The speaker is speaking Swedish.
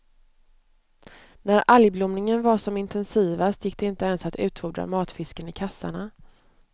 När algblomningen var som intensivast gick det inte ens att utfordra matfisken i kassarna.